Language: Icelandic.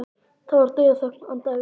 Það var dauðaþögn handan við dyrnar.